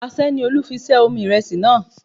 Aṣẹ́ ni Olú fi ṣẹ́ omi ìrẹsì náà